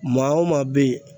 Maa o maa bɛ yen.